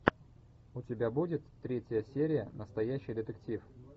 у тебя будет третья серия настоящий детектив